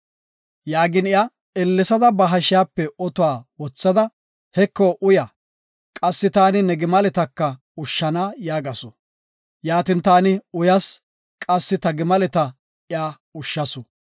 “Yaagin iya ellesada ba hashiyape otuwa wothada, ‘Heko uya; qassi taani ne gimaleta ushshana’ yaagasu. Yaatin taani uyas; qassi ta gimaleta iya ushshasu.